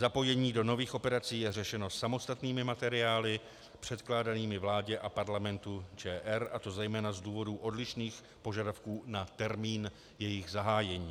Zapojení do nových operací je řešeno samostatnými materiály předkládanými vládě a Parlamentu ČR, a to zejména z důvodů odlišných požadavků na termín jejich zahájení.